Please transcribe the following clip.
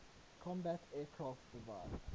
combat aircraft divide